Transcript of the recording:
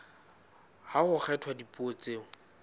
ha ho kgethwa dipuo tseo